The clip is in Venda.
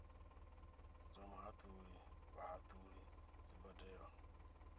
dza muhatuli vhahatuli dzi badelwa